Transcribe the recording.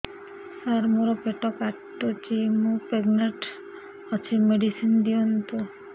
ସାର ମୋର ପେଟ କାଟୁଚି ମୁ ପ୍ରେଗନାଂଟ ଅଛି ମେଡିସିନ ଦିଅନ୍ତୁ